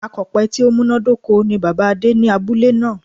Akòpe tí ó múnádóko ni Bàbáa Adé ní abúlé náà